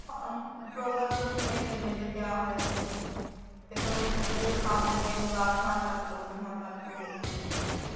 ਹਾਂ program ਦਾ ਤਾਂ ਪਤਾ ਹੀ ਨੀ ਲੱਗਿਆ ਵੀ ਕਿਆ ਹੋਇਆ ਕਿਆ ਨਹੀਂ ਫੇਰ ਤਾਂ ਉਹ ਦਰੀਆਂ ਹੀ ਸਾਂਭ ਦੇ ਰਹੇ ਕੋਈ ਆਹ ਸਮਾਨ ਚੱਕਲੋ ਕੋਈ ਉਹ ਸਮਾਨ ਚੱਲ ਲੋ ਇਹ ਕਰਲੋ ਉਹ ਕਰਲੋ